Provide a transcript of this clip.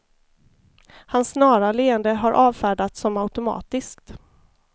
Hans snara leende har avfärdats som automatiskt.